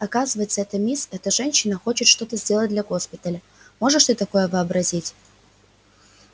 оказывается эта мисс эта женщина хочет что-то сделать для госпиталя можешь ты такое вообразить